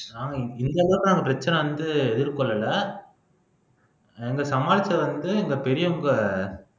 ஆஹ் இந்தளவுக்கு நாங்க பிரச்சனை வந்து எதிர்கொள்ளலை எங்க சமாளிச்சது வந்து எங்க பெரியவங்க